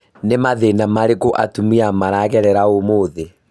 Nĩ mathĩna marĩkũ atumia magerĩgĩra ũmũthi?